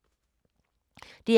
DR K